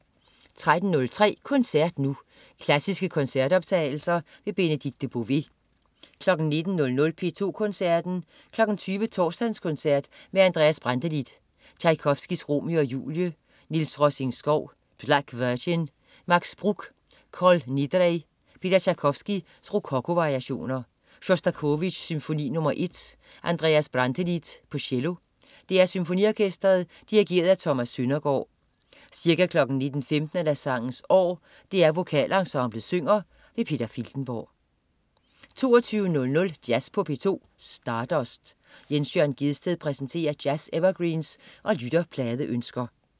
13.03 Koncert Nu. Klassiske koncertoptagelser. Benedikte Bové 19.00 P2 Koncerten. 20.00 Torsdagskoncert med Andreas Brantelid. Tjajkovskij: Romeo og Julie. Niels Rosing-Schow: Black Virgin. Max Bruch: Kol Nidrei. Peter Tjajkovskij: Rokoko-variationer. Sjostakovitj: Symfoni nr. 1. Andreas Brantelid, cello. DR Symfoniorkestret. Dirigent: Thomas Søndergård. Ca. 19.15 Sangens År. DR Vokalensemblet synger. Peter Filtenborg 22.00 Jazz på P2. Stardust. Jens Jørn Gjedsted præsenterer jazz-evergreens og lytterpladeønsker